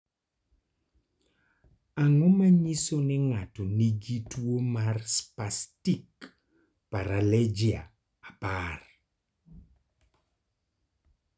Ang�o ma nyiso ni ng�ato nigi tuo mar Spastic paraplegia apar?